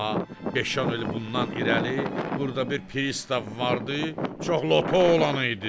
Amma beş-on il bundan irəli burda bir pristav vardı, çox loto olan idi.